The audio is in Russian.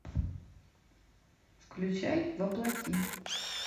включай во плоти